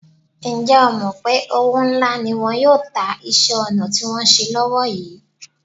Ǹjẹ́ o mọ̀ pé òwó ńalá́ ni wọn yóò ta iṣẹ́-ọnà tí wọ́n ń ṣe lọ́wó yìí?